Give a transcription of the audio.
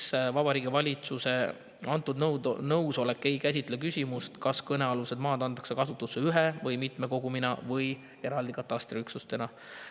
" Esiteks, Vabariigi Valitsuse antud nõusolek ei käsitle küsimust, kas kõnealused maad antakse kasutusse ühe katastriüksusena, mitme üksuse kogumina või eraldi üksustena.